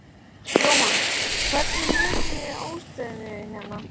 Jóhann: Hvernig metið þið ástandið hérna?